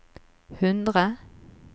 hundre